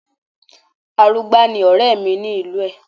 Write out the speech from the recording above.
Arugbá ni ọ̀rẹ́ mi ni ìlú ẹ̀